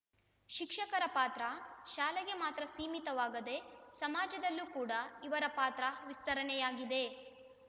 ಶಿಕ್ಷಕರ ಪಾತ್ರ ಶಾಲೆಗೆ ಮಾತ್ರ ಸೀಮಿತವಾಗದೇ ಸಮಾಜದಲ್ಲಿ ಕೂಡ ಇವರ ಪಾತ್ರ ವಿಸ್ತರಣೆಯಾಗಿದೆ